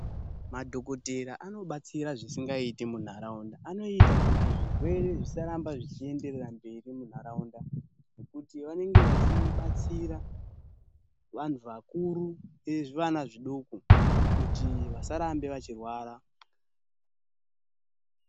Madhokoteya anobatsira zvisingait emunharaunda anoita kuti zvirwere zvisaramba zvichienderera mberi munharaunda .Kuti vanenge vachibatsira vanhu vakuru nezvivana zvidoko kuti vasarambe veirwara.